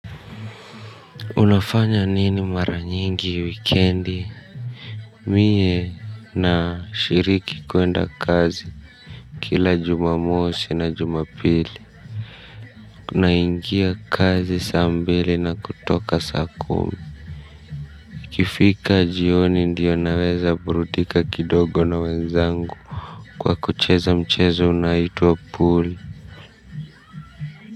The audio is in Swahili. Unafanya nini mara nyingi wikendi. Mie nashiriki kuenda kazi. Kila jumamosi na jumapili naingia kazi saa mbili na kutoka saa kumi. Ikifika jioni ndiyo naweza burudika kidogo na wenzangu kwa kucheza mchezo unaitwa pool.